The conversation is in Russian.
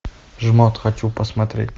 жмот хочу посмотреть